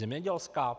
Zemědělská?